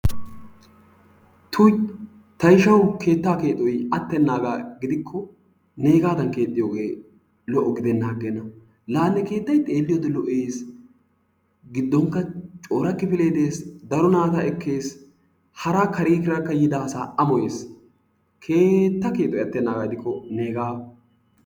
Tuyi ta ishawu keettaa keexoyi attennaagaa gidishin neegaadan keexxiyogee lo"o gidennan aggenna la ne keettayi xeelliyode lo"es giddonkka cora kifilee de"es daro naata ekkes hara kareera yiida asaakka amoye. Keetta keexoyi attennaaga gidikko neegaa.